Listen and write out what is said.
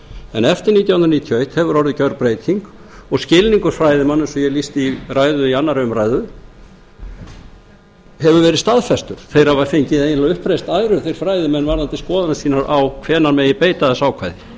en eftir nítján hundruð níutíu og eitt hefur orðið gjörbreyting og skilningur fræðimanna eins og ég lýsti í ræðu í önnur umræða hefur verið staðfestur þeir hafa fengið eiginlega uppreisn æru þeir fræðimenn varðandi skoðanir sínar á hvenær megi beita þessu ákvæði